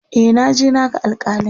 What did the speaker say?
e naje na ga alkalin